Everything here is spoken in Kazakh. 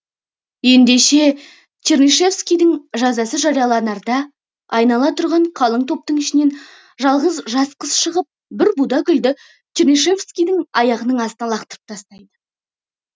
ендеше чернышевскийдің жазасы жарияланарда айнала тұрған қалың топтың ішінен жалғыз жас қыз шығып бір буда гүлді чернышевскийдің аяғының астына лақтырып тастайды